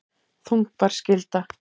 Þungbær skylda